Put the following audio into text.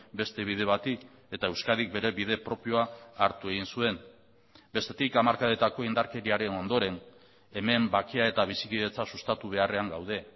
beste bide bati eta euskadik bere bide propioa hartu egin zuen bestetik hamarkadetako indarkeriaren ondoren hemen bakea eta bizikidetza sustatu beharrean gaude